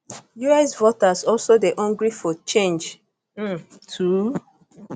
us voters also dey hungry for change um too